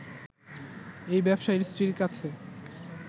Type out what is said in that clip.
এই ব্যবসায়ীর স্ত্রীর কাছে